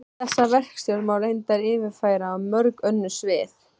Þessa verkstjórn má reyndar yfirfæra á mörg önnur svið.